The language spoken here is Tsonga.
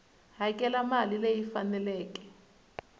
hakela mali leyi yi faneleke